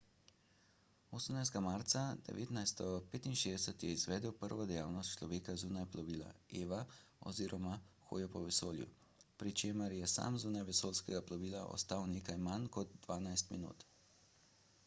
18. marca 1965 je izvedel prvo dejavnost človeka zunaj plovila eva oziroma hojo po vesolju pri čemer je sam zunaj vesoljskega plovila ostal nekaj manj kot dvanajst minut